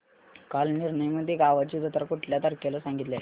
कालनिर्णय मध्ये गावाची जत्रा कुठल्या तारखेला सांगितली आहे